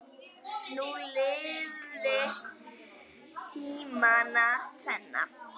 Þú lifðir tímana tvenna.